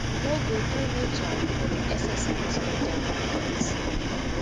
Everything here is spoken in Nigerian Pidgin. no go do uturn for di exercise of dia mandate